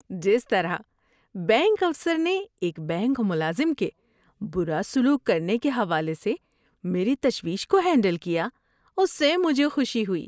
‏جس طرح بینک افسر نے ایک بینک ملازم کے برا سلوک کرنے کے حوالے سے میری تشویش کو ہینڈل کیا، اس سے مجھے خوشی ہوئی۔